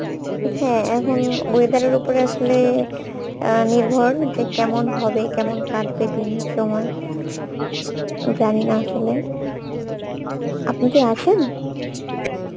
হ্যাঁ এখন weather উপরে আসলে আহ নির্ভর হচ্ছে যে কেমন হবে কেমন কাটবে দিন সময় জানি না আসলে আপনি কি আছেন?